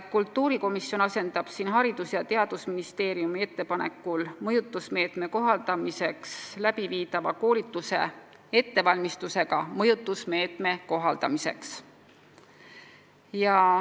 Kultuurikomisjon asendab Haridus- ja Teadusministeeriumi ettepanekul mõjutusmeetme kohaldamiseks läbiviidava koolituse ettevalmistusega mõjutusmeetme kohaldamiseks.